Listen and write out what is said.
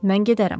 Mən gedərəm.